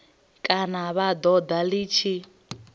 kana vha ṱoḓa ḽi tshi